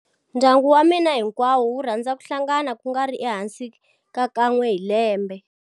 Ndyangu wa mina hinkwawo wu rhandza ku hlangana ku nga ri ehansi ka kan'we hi lembe.